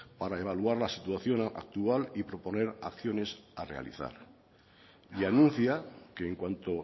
para evaluar la situación actual y proponer acciones a realizar y anuncia que en cuanto